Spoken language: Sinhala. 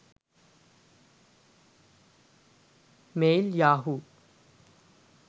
mail yahoo